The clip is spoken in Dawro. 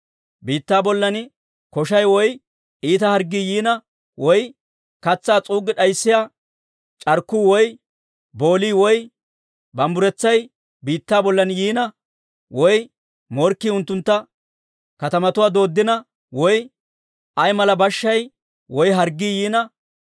«Biittaa bollan koshay woy iita harggii yiina, woy katsaa s'uuggi d'ayssiyaa c'arkkuu woy boolii woy bumbburetsay biittaa bollan yiina, woy morkkii unttunttu katamatuwaa dooddina, woy ay mala bashshay woy harggii yiina,